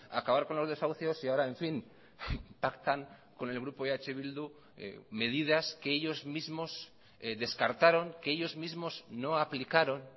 acabar con los desahucios y ahora en fin pactan con el grupo eh bildu medidas que ellos mismos descartaron que ellos mismos no aplicaron